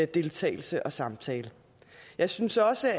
deltagelse og samtale jeg synes også